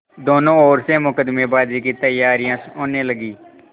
दोनों ओर से मुकदमेबाजी की तैयारियॉँ होने लगीं